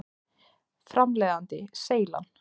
Framleiðandi: Seylan.